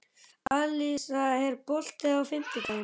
Alisa, er bolti á fimmtudaginn?